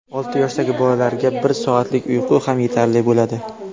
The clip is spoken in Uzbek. Olti yoshdagi bolalarga bir soatlik uyqu ham yetarli bo‘ladi.